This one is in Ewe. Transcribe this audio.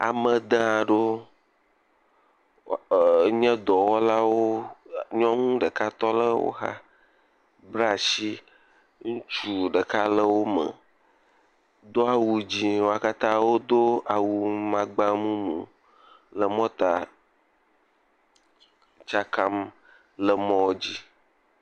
Amede aɖewo enye dɔwɔlawo nyɔnu ɖeka tɔ ɖe woxa kpla asi, ŋutsu ɖeka le wo me do awu dzɛ̃ wo katã wodo awu makpa mumu le mɔta tsakam le mɔ dz.